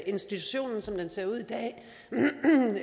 institutionen som den ser ud